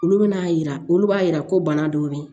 Olu bɛna yira olu b'a yira ko bana dɔw bɛ yen